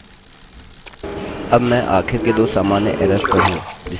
अब मैं आखिर के दो सामान्य एरर्सerrors पर हूँ जिसे मैंने शामिल किया है